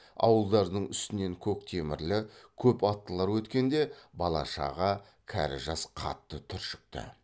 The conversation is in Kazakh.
ауылдардың үстінен көк темірлі көп аттылар өткенде бала шаға кәрі жас қатты түршікті